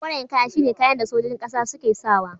Koren kaya shi ne kayan da sojojin ƙasa suke sa wa.